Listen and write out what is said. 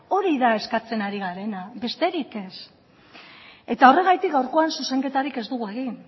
hori da eskatzen ari garena besterik ez eta horregatik gaurkoan zuzenketarik ez dugu egin